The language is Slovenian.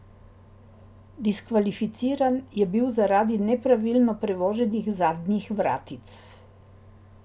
Diskvalificiran je bil zaradi nepravilno prevoženih zadnjih vratic.